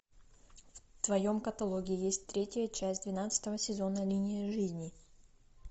в твоем каталоге есть третья часть двенадцатого сезона линия жизни